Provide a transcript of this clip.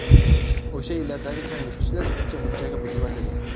O‘sha yillardagi changyutgichlar uncha-munchaga buzilmas edi.